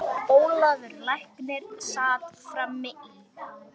Ólafur læknir sat fram í.